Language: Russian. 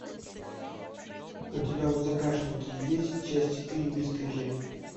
у тебя в загашнике есть часть четыре бесстыжие